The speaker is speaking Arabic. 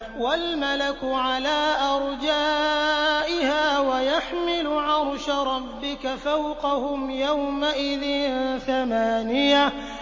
وَالْمَلَكُ عَلَىٰ أَرْجَائِهَا ۚ وَيَحْمِلُ عَرْشَ رَبِّكَ فَوْقَهُمْ يَوْمَئِذٍ ثَمَانِيَةٌ